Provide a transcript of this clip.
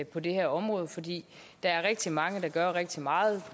på det her område fordi der er rigtig mange der gør rigtig meget